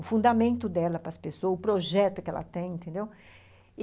O fundamento dela para as pessoas, o projeto que ela tem, entendeu?